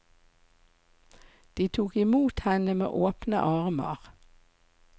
De tok imot henne med åpne armer.